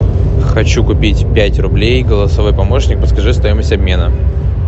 хочу купить пять рублей голосовой помощник подскажи стоимость обмена